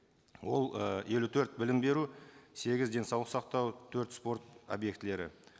ол ы елу төрт білім беру сегіз денсаулық сақтау төрт спорт объектілері